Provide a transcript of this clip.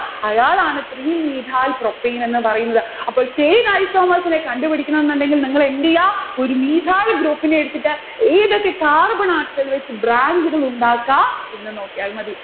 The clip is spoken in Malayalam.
അയാളാണ് three methyl propane എന്ന് പറയുന്നത്. അപ്പോൾ chain isomers നെ കണ്ടുപിടിക്കണമെന്ന് ഉണ്ടെങ്കിൽ നിങ്ങൾ എന്തെയ്യാം? ഒരു mathyl group നെ എടുത്തിട്ട് ഏതൊക്കെ carbon atom ത്തിൽവെച്ചു branch ഉകളുണ്ടാക്കാം എന്ന് നോക്കിയാൽ മതി.